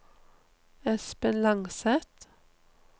Espen Langseth